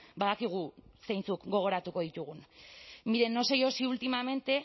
badakigu zeintzuk gogoratuko ditugun mire no sé yo si últimamente